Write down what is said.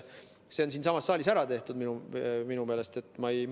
See on siinsamas saalis minu meelest ära tehtud.